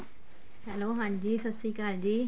hello ਹਾਂਜੀ ਸਤਿ ਸ਼੍ਰੀ ਅਕਾਲ ਜੀ